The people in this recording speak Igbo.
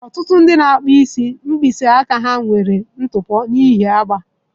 Ọtụtụ ndị na-akpụ isi nwere mkpịsị aka ha nwere ntụpọ n'ihi agba.